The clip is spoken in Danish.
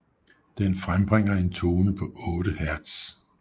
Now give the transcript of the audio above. Den frembringer en tone på 8 Hz